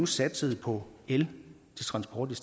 satsede på el til transport